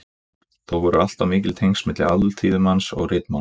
Þó voru alltaf mikil tengsl milli alþýðumáls og ritmáls.